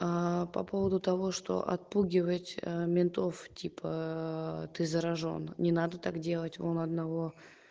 по поводу того что отпугивать ментов типа ты заражён не надо так делать он одного